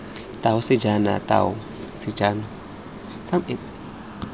tau sajene tau sajene tau